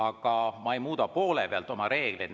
Aga ma ei muuda poole pealt reegleid.